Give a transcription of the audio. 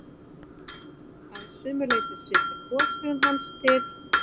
Að sumu leyti svipar goshegðun hans til